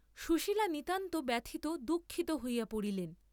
সুশীলা নিতান্ত ব্যথিত, দুঃখিত হইয়া পড়িলেন।